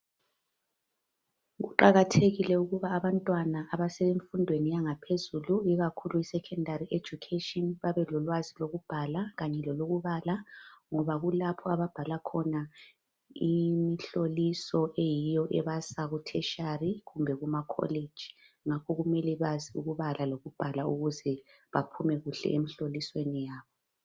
kuqakathekile ukuba abantwana abasemfundweni yaphezulu ikakhulu secondary education babelolwazi lokubhala kanye lokubala ngoba kulapho ababhala khona imhloliso eyiyo ebasa ku tertiary kumbe kuma college ngakho kumele bazi ukubala lokubhala ukuze baphume kuhle emhlolisweni yabo